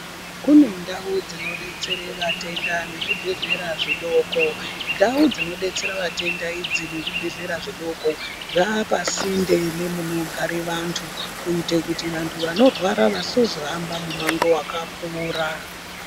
Kune ndau dzinodetsere vatenda nezvibhedhlera zvidoko ndau dzinodetsera vatenda idzi nezvibhedhlera zvidoko zvaapasinde nemunogara vantu kuite kuti vantu vanorwara vasazohamba mumango wakakura.